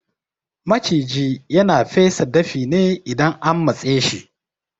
Maciji yana fesa dafi ne idan an matseshi